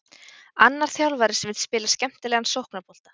Annar þjálfari sem vill spila skemmtilegan sóknarbolta.